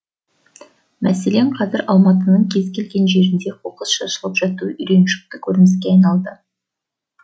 мәселен қазір алматының кез келген жерінде қоқыс шашылып жатуы үйреншікті көрініске айналды